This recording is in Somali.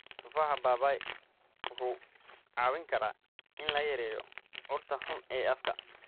Tufaaxa papaya wuxuu caawin karaa in la yareeyo urta xun ee afka.